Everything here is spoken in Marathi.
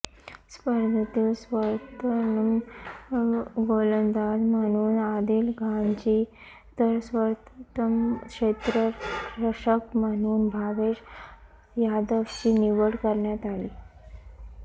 स्पर्धेतील सर्वोत्तम गोलंदाज म्हणून आदिल खानची तर सर्वोत्तम क्षेत्ररक्षक म्हणून भावेश यादवची निवड करण्यात आली